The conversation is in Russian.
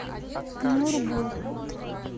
нюрбу